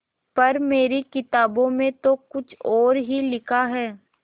पर मेरी किताबों में तो कुछ और ही लिखा है